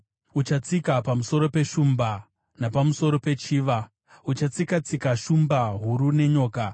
Uchatsika pamusoro peshumba napamusoro pechiva; uchatsika-tsika shumba huru nenyoka.